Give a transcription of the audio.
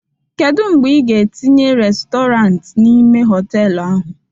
Kedu mgbe ị ga-etinye restọrant n'ime họtelu ahụ?